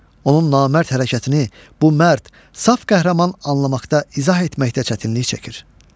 Onun namərd hərəkətini bu mərd, saf qəhrəman anlamaqda, izah etməkdə çətinlik çəkir.